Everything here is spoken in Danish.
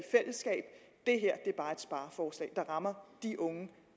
spareforslag der rammer de unge